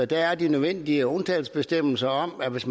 der er de nødvendige undtagelsesbestemmelser om at hvis